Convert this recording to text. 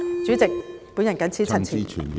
主席，我謹此陳辭。